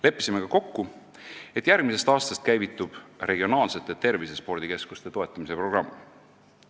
Leppisime ka kokku, et järgmisest aastast käivitub regionaalsete tervisespordikeskuste toetamise programm.